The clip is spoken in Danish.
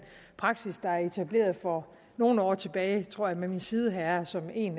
praksis der er etableret for nogle år tilbage tror jeg med min sideherre som en